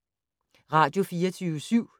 Radio24syv